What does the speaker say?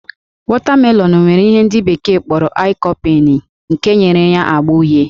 Wọtamelọnụ nwere ihe ndị bekee kpọrọ lycopene nke nyere ya ágbá uhie